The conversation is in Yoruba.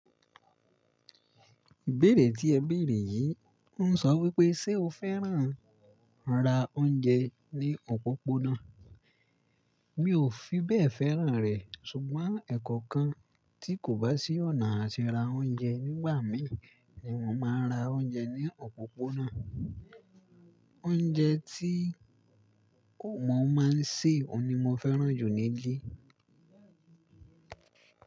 Ìbéèrè tí ẹ bèèrè yìí ń sọ wípé ṣe o fẹ́ràn ran ra oúnjẹ ní òpópónà? Mi ò fi bẹ́ẹ̀ fẹ́ràn rẹ̀ ṣùgbọ́n ẹ̀kọ̀kan tí kò bá sí ọ̀nà àti ra oúnjẹ nígbà mí ní mo máa ń ra oúnjẹ ní òpópónà. Oúnjẹ tí ko, wọ́n máa ń sè, oun ni mo fẹ́ràn jù nílé.